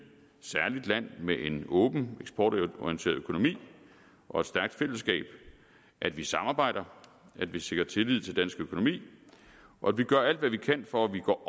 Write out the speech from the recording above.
land med en åben eksportorienteret økonomi og et stærkt fællesskab at vi samarbejder at vi sikrer tillid til dansk økonomi og at vi gør alt hvad vi kan for at vi går